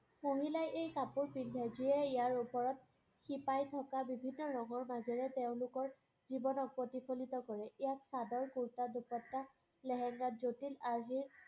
মহিলাই এই কাপোৰ পিন্ধে, যিয়েই ইয়াৰ ওপৰত শিপাই থকা বিভিন্ন ৰঙৰ মাজেৰে তেওঁলোকৰ জীৱনক প্ৰতিফলিত কৰে। চাদৰ, কুৰ্টা, দোপাত্তা, লেহেংগা জটিল আৰ্হিৰ